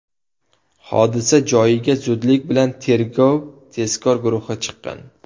Hodisa joyiga zudlik bilan tergov tezkor guruhi chiqqan.